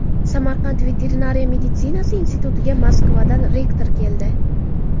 Samarqand veterinariya meditsinasi institutiga Moskvadan rektor keldi.